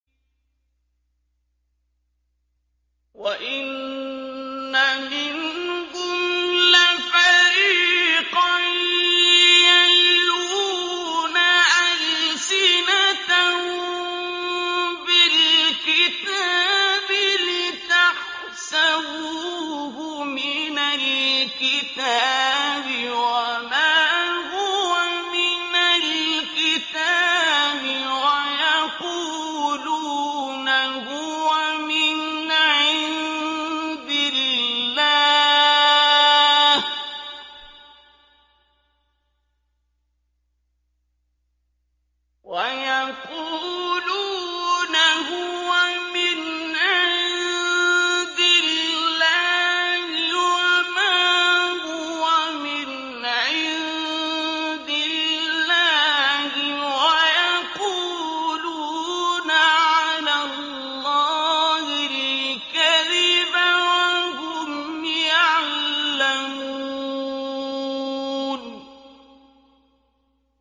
وَإِنَّ مِنْهُمْ لَفَرِيقًا يَلْوُونَ أَلْسِنَتَهُم بِالْكِتَابِ لِتَحْسَبُوهُ مِنَ الْكِتَابِ وَمَا هُوَ مِنَ الْكِتَابِ وَيَقُولُونَ هُوَ مِنْ عِندِ اللَّهِ وَمَا هُوَ مِنْ عِندِ اللَّهِ وَيَقُولُونَ عَلَى اللَّهِ الْكَذِبَ وَهُمْ يَعْلَمُونَ